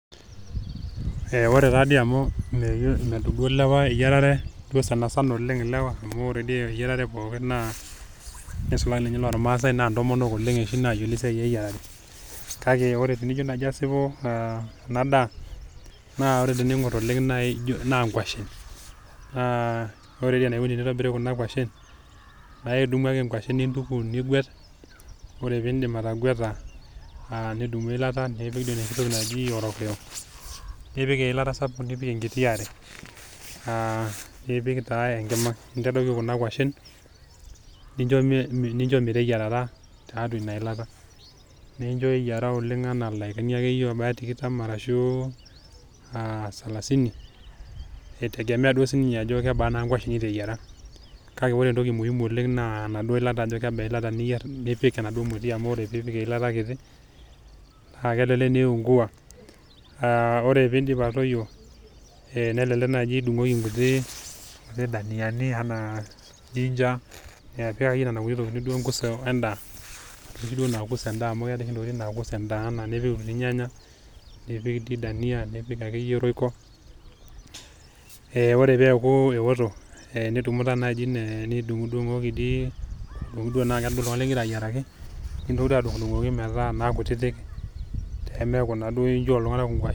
Ore taadi amu medup duo ilewa eyierare duo sanisana oleng amu ore dii ilewa nisulaki iloormasae naa ntomonok oshi nayiolo esiai eyiarare, kake tenijo naji asipu enadaa naa ore teningor oleng naa nkwashen naa ore enikoni teneyieri nkwashen naa idumu ake nkwashen nintuku , nigwet , ore pindip atagweta nidumu eilata enoshi toki naji orokio , nipik enkiti are , nintadoiki taa enkima , nintadoiki kuna kwashen nincho meteyiarata tiatua inailata , nincho eyiera ildaikani tikitam arashu salasini itegemea naa ajo kebaa kwashen niteyiera kake ore entoki muhimu naa kebaa eilata niyier nipik enaduo moti amu ore tenipik eilata kiti naa kelelek eiungua . Ore pidip atoyio , nelelek naji idungoki inkuti dania anaa jinger amu keetae sohi ntokitin nakus endaa ,ee ore peaku eoto nidumu naa naji nidungdung aitaa kutiti .